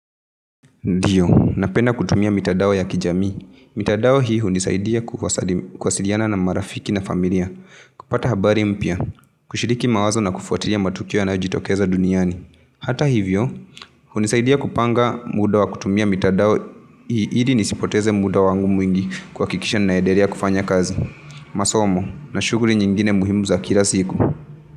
Ndiyo, na penda kutumia mitadao ya kijamii. Mitadao hi huni saidia kuwasiliana na marafiki na familia. Kupata habari mpya, kushiriki mawazo na kufuatilia matukio yanayo jitokeza duniani. Hata hivyo, huni saidia kupanga muda wa kutumia mitadao hii ili nisipoteze muda wangu mwingi kuakikisha naendelea kufanya kazi. Masomo na shuguli nyingine muhimu za kila siku.